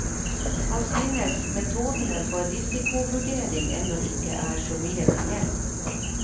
Han synes metodene for risikovurdering ennå ikke er så mye til hjelp.